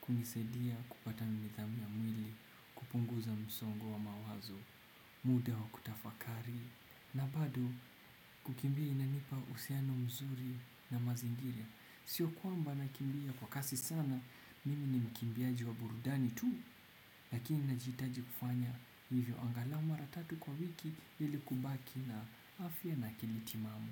kunisaidia kupata nidhamu ya mwili. Kupunguza msongo wa mawazo. Muda wa kutafakari. Na bado kukimbia inanipa uhusiano mzuri na mazingira. Sio kwamba nakimbia kwa kasi sana. Mimi ni mkimbiaji wa burudani tu. Lakini najihitaji kufanya hivyo angalau mara tatu kwa wiki ili kubaki na afya na akili timamu.